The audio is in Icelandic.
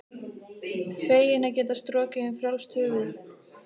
Feginn að geta strokið um frjálst höfuð.